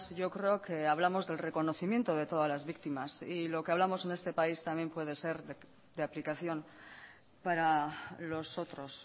yo creo que hablamos del reconocimiento de todas las víctimas y lo que hablamos en este país también puede ser de aplicación para los otros